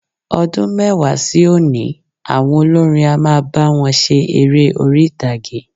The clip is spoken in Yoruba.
Ọdún mẹ́wàá sí òní, àwọn olórin á máa bá wọn ṣe eré orí-ìtàgé.